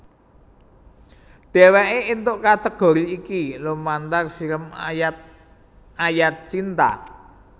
Dhéwéké éntuk kategori iki lumantar film Ayat Ayat Cinta